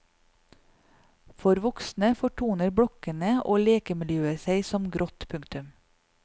For voksne fortoner blokkene og lekemiljøet seg som grått. punktum